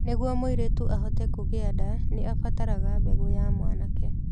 Nĩguo mũirĩtu ahote kũgĩa nda, nĩ abataraga mbegũ ya mwanake.